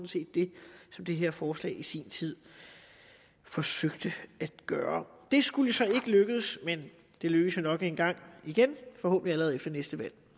set det som det her forslag i sin tid forsøgte at gøre det skulle så ikke lykkedes men det lykkes jo nok en gang igen forhåbentlig allerede efter næste valg